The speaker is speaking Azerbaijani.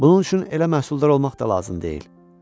Bunun üçün elə məhsuldar olmaq da lazım deyil.